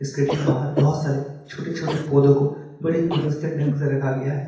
इसके ठीक बाहर बहोत सारे छोटे-छोटे पौधो को बड़े ही व्यवस्थित ढंग से रखा गया है।